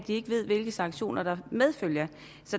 ikke ved hvilke sanktioner det medfører